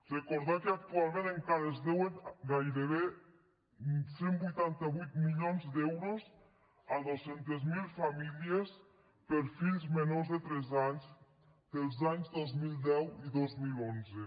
recordar que actualment encara es deuen gairebé cent i vuitanta vuit milions d’euros a dos cents miler famílies per fills menors de tres anys dels anys dos mil deu i dos mil onze